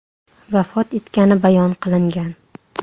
vafot etgani bayon qilingan.